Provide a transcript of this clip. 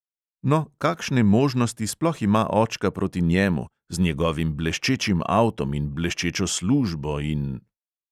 "No, kakšne možnosti sploh ima očka proti njemu, z njegovim bleščečim avtom in bleščečo službo in ..."